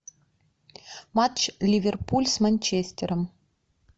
матч ливерпуль с манчестером